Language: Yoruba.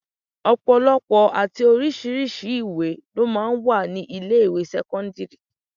Ọ̀pọ̀lọpọ̀ àti oríṣiríṣi ìwé lọ máa ń wà ní ilé ìwé sẹ́kọ́ńdírì.